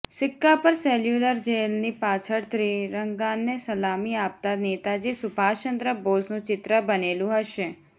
સિક્કા પર સેલ્યુલર જેલની પાછળ ત્રિરંગાને સલામી આપતા નેતાજી સુભાષ ચંદ્ર બોઝનું ચિત્ર બનેલું હશે